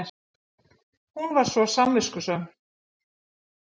Hún var svo samviskusöm.